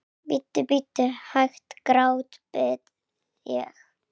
Bíddu, bíddu hæg, grátbið ég.